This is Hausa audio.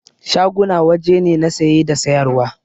Shaguna waje ne na saye da sayar wa